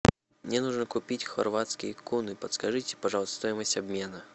мне нужно купить хорватские куны подскажите пожалуйста стоимость обмена